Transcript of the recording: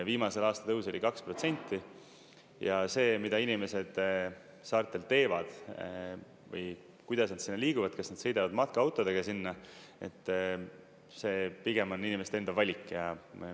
Viimase aasta tõus oli 2% ja see, mida inimesed saartel teevad või kuidas nad sinna liiguvad, kas nad sõidavad matkaautodega sinna, see pigem on inimeste enda valik.